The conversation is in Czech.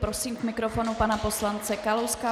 Prosím k mikrofonu pana poslance Kalouska.